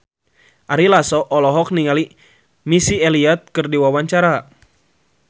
Ari Lasso olohok ningali Missy Elliott keur diwawancara